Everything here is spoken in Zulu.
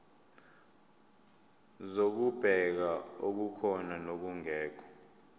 zokubheka okukhona nokungekho